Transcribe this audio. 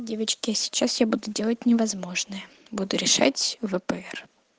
девочки я сейчас я буду делать невозможное буду решать впр